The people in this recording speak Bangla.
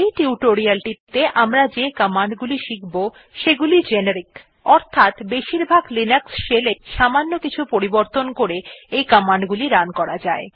এই টিউটোরিয়ালটিতে আমরা যে কমান্ড গুলি শিখব সেগুলি জেনেরিক অর্থাৎ বেশিরভাগ লিনাক্স shell এই সামান্য কিছু পরিবর্তন করে এই কমান্ড গুলি রান করা যায়